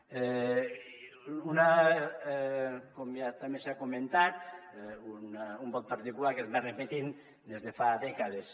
com ja també s’ha comentat un vot particular que es va repetint des de fa dècades